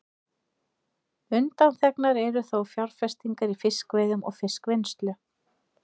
Undanþegnar eru þó fjárfestingar í fiskveiðum og fiskvinnslu.